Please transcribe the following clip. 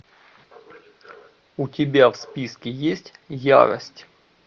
у тебя в списке есть ярость